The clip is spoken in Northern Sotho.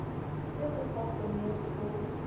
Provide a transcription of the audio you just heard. ge go sa kgonege go